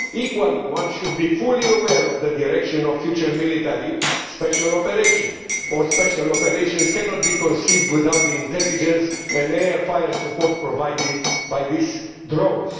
Equally, one should be fully aware of the direction of future military special operations, which cannot be conceived without the intelligence and air fire support provided by these drones.